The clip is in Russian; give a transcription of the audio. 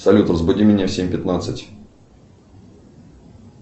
салют разбуди меня в семь пятнадцать